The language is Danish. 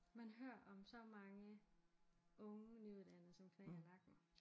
Man hører om så mange unge nyuddannede som knækker nakken